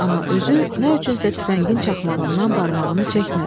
Amma özü nədənsə tüfəngin çaxmağından barmağını çəkmədi.